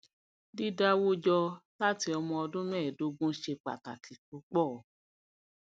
dídáwó jọ láti ọmọ ọdún mẹẹdógún ṣe pàtàkì púpọ